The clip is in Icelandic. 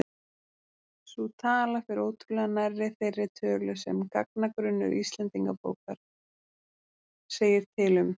Sú tala fer ótrúlega nærri þeirri tölu sem gagnagrunnur Íslendingabókar segir til um.